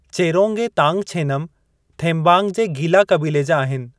चेरोंग ऐं तांगछेनमु, थेम्बांग जे गीला क़बीले जा आहिनि।